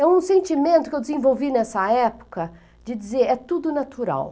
É um sentimento que eu desenvolvi nessa época de dizer, é tudo natural.